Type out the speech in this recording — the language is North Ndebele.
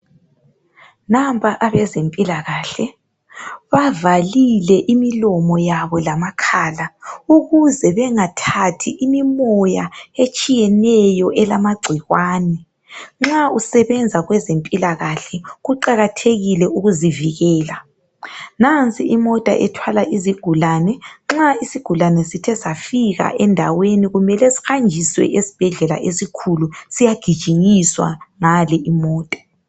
Nampa abezempila kahle bavalile imilomo yabo lama khala ukuze bengathathi imimoya etshiyeneyo elamagcikwane. Nxa usebenza kwezempila kahle kuqakathekile ukuzivikela, nansi imota ethwala izigulane nxa isigulane sithe safika endaweni kumele sihanjiswe esibhedlela esikhulu siyagijinyiswa ngale imota.